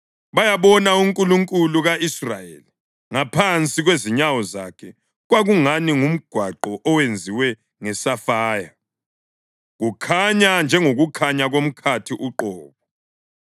bayabona uNkulunkulu ka-Israyeli. Ngaphansi kwezinyawo zakhe kwakungani ngumgwaqo owenziwe ngesafaya, kukhanya njengokukhanya komkhathi uqobo.